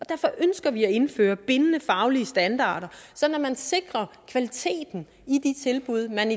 derfor ønsker vi at indføre bindende faglige standarder sådan at man sikrer kvaliteten i de tilbud man